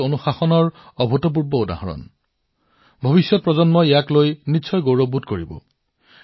এয়া অনুশাসনৰ এক অভূতপূৰ্ব উদাহৰণ আছিল পৰৱৰ্তী প্ৰজন্মবোৰে ইয়াক লৈ নিশ্চয় গৌৰৱান্বিত হব